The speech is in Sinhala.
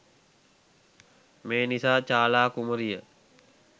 මේ නිසා චාලා කුමරිය